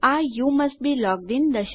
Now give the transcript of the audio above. આ you must be logged in